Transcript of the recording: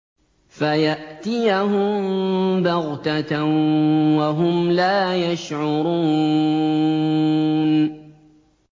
فَيَأْتِيَهُم بَغْتَةً وَهُمْ لَا يَشْعُرُونَ